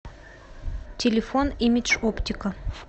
телефон имидж оптика